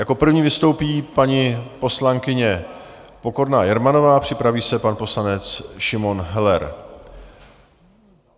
Jako první vystoupí paní poslankyně Pokorná Jermanová, připraví se pan poslanec Šimon Heller.